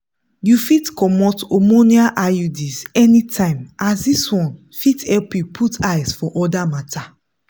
you fit comot hormonal iuds anytime as this one fit help you put eyes for other matters.